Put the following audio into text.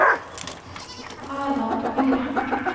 Erland Myhre